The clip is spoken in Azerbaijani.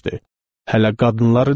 Hələ qadınları demirəm.